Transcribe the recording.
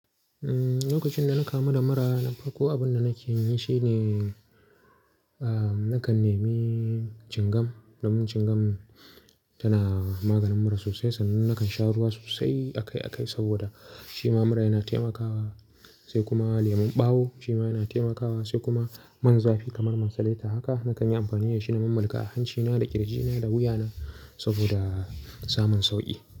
Umm, lokacin da na kamu da mura, na farko abun da nake yi shine, ahh, nakan nemi cingam, don cingam tana maganin mura sosai. Sannan nakan sha ruwa sosai akai-akai saboda shi ma mura yana taimakawa, sai kuma lemon ɓawo shi ma yana taimakawa, sai kuma man zafi kamar man taleta. Haka na kan yi amfani da shi na mulka a hancina da ƙirjina da wuyana saboda samun sauƙi.